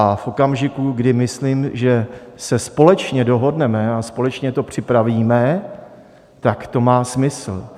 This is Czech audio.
A v okamžiku, kdy myslím, že se společně dohodneme a společně to připravíme, tak to má smysl.